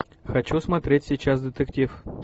хочу смотреть сейчас детектив